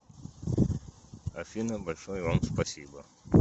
афина большое вам спасибо